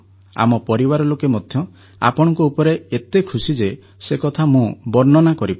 ଆମ ପରିବାର ଲୋକେ ମଧ୍ୟ ଆପଣଙ୍କ ଉପରେ ଏତେ ଖୁସି ଯେ ସେକଥା ମୁଁ ବର୍ଣ୍ଣନା କରିପାରୁନି